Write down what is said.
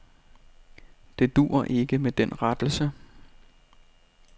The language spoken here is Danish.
Det duer ikke med den rettelse.